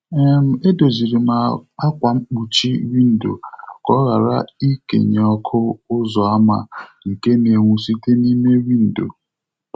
um E doziri m ákwà mkpuchi windo ka ọ ghara ikenye ọkụ ụzọ ámá nke na-enwu site n'ime windo.